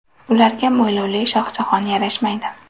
Ularga mo‘ylovli Shohjahon yarashmaydi.